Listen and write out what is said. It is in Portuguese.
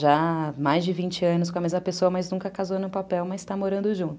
Já mais de vinte anos com a mesma pessoa, mas nunca casou no papel, mas está morando junto.